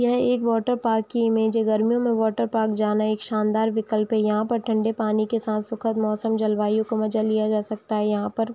यह एक water park की इमेज है गर्मियों में वाटर पार्क जाना एक शानदार विकल्प है यहाँ पर ठन्डे पानी के साथ सुखद मौसम जल-वायु का मज़ा लिया जा सकता है यहाँ पर --